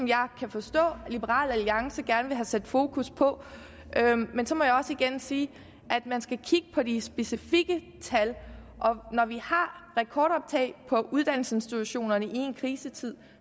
jeg kan forstå at liberal alliance gerne vil have sat fokus på men så må jeg også igen sige at man skal kigge på de specifikke tal og når vi har rekordoptag på uddannelsesinstitutionerne i en krisetid